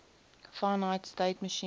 finite state machine